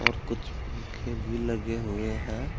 और कुछ पंखे भी लगे हुए हैं।